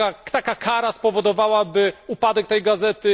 Taka kara spowodowałaby upadek tej gazety.